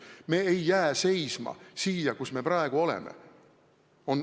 Me ei jää seisma siia, kus me praegu oleme.